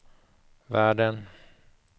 världen